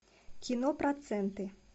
кино проценты